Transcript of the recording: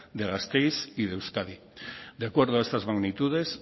de gasteiz y de euskadi de acuerdo a estas magnitudes